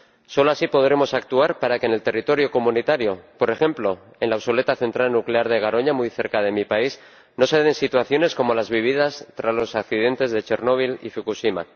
Solo así podremos actuar para que en el territorio de la Unión, por ejemplo en la obsoleta central nuclear de Garoña, muy cerca de mi país, no se den situaciones como las vividas tras los accidentes de Chernóbil y Fukushima.